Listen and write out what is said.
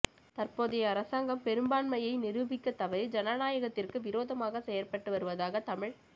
தற்போதை அரசாங்கம் பெரும்பான்மையை நிரூபிக்கத் தவறி ஜனநாயகத்திற்கு விரோதமாக செயற்பட்டு வருவதாக தமிழ்த்